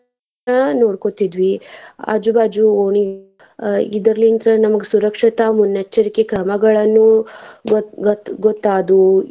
ನೋಡಕೋತಿದ್ವಿ ಆಜು ಬಾಜು ಓಣಿ ಅಹ್ ಇದ್ರಲಿಂತ ನಮ್ಗ್ ಸುರಕ್ಷಿತ ಮುನ್ನೆಚ್ಚರಿಕೆ ಕ್ರಮಗಳನ್ನು. ಮತ್ತ್ ಮತ್ತ್ ಗೊತ್ತಾದ್ವು.